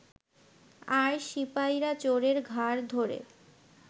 আর সিপাইরা চোরের ঘাড় ধরে